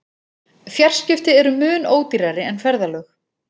Fjarskipti eru mun ódýrari en ferðalög.